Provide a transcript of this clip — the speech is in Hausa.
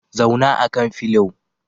Zauna akan filio